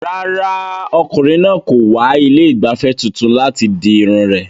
Rárá, ọkùnrin náà kò wá ilé ìgbafẹ́ tuntun láti di irun rẹ̀.